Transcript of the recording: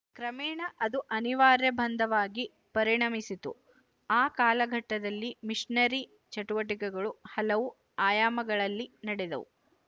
ಕ್ರಮೇಣ ಅದು ಅನಿವಾರ್ಯ ಬಂಧವಾಗಿ ಪರಿಣಮಿಸಿತು ಆ ಕಾಲಘಟ್ಟದಲ್ಲಿ ಮಿಶನರಿ ಚಟುವಟಿಕೆಗಳು ಹಲವು ಆಯಾಮಗಳಲ್ಲಿ ನಡೆದವು